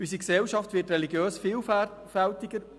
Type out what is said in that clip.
Unsere Gesellschaft wird religiös vielfältiger.